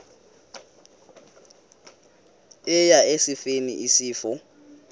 eya esifeni isifo